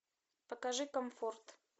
покажи комфорт